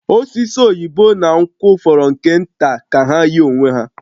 Osisi aki oyibo na nkwụ fọrọ nke nta ka ha yie onwe ha